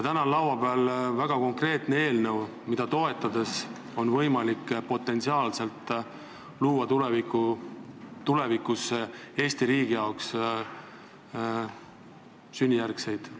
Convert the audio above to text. Täna on laua peal väga konkreetne eelnõu, mida toetades on võimalik Eesti riigile lojaalsete sünnijärgsete kodanike arvu suuremana hoida.